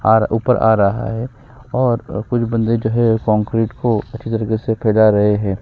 और ऊपर आ रहा है और कुछ बंदे जो हैं कंक्रीट को अच्छे तरीके से फैला रहे हैं।